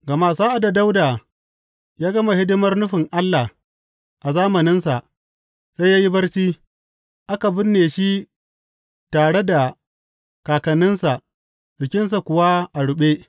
Gama sa’ad da Dawuda ya gama hidimar nufin Allah a zamaninsa, sai ya yi barci; aka binne shi tare da kakanninsa jikinsa kuwa ya ruɓe.